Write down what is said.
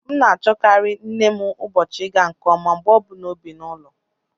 M na-achọkarị nne m ụbọchị ịga nke ọma mgbe ọ bụla o bi n'ụlọ